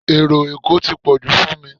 Ero Èkó tí pọ̀jù fún mi